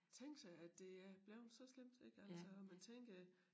Tænk sig at det er blevet så slemt ik altså og man tænker